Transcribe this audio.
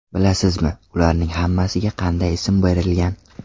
Bilasizmi, ularning hammasiga qanday ism berilgan?